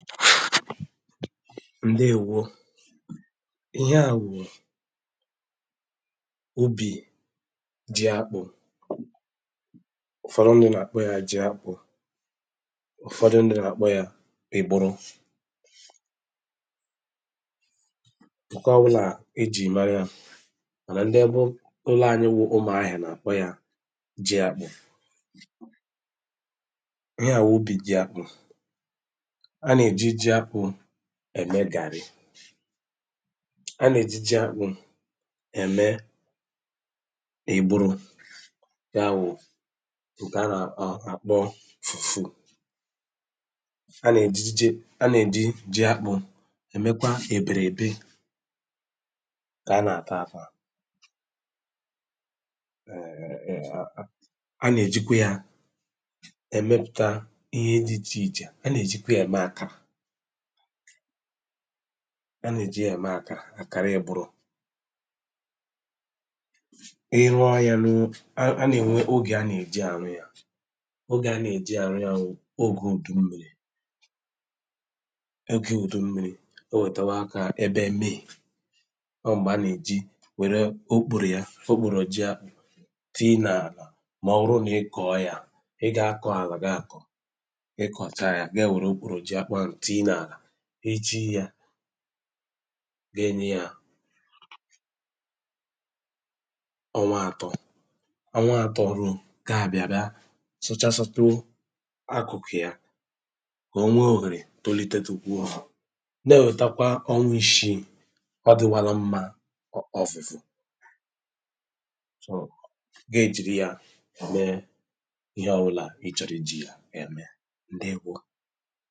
ǹdeèwo ihe à wù òbì ji akpụ̀ ụ̀fọ̀rọ̀ ndụ̀ na-àkpọ yȧ ji akpụ̀ ụ̀fọ̀dụ̀ ndụ̀ nà-àkpọ yȧ ègburu ǹke ọwụ nà èjì mara yȧ mànà ndi ebe ụlọ̀ ànyị wụ̇ ụmụ̀ ahìè nà-àkpọ yȧ ji àkpụ̀ ihe à wùbi gị̇ àkpụ̀ ẹ̀mẹ gàrị a nà ejiji akpụ̇ ẹ̀mẹ ị̀gbụrụ ya wụ̀ ụ̀ke a nà ọ̀ àkpọ fùfù a nà èjiji a nà èji ji akpụ̇ ẹ̀mẹkwa èbèrè èbi ke a nà àta atụ̇ à a nà èjikwa ya ẹ̀mẹpụta ihe dị ịchè ịchè a nà èjikwa ya ẹ̀mẹ akȧ anà-èji ème àkà àkàra ya buru iche ihe à ga-enye ya ọnwa atọ ọnwa atọ ruo ga-abịa bịa sụchasọtụ akụkụ ya ka o nwee ohere tolitete ukwu ọ hụ na-ètakwa onwe ishi ọ dịwala mmȧ ọfufo gaa ejiri ya mee ihe ọwụla ị chọrọ iji ya ya mee ndị kwa